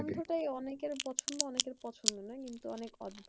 গন্ধটাই অনেকের পছন্দ অনেকের পছন্দ না। কিন্তু অনেক